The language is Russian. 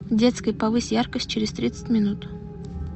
в детской повысь яркость через тридцать минут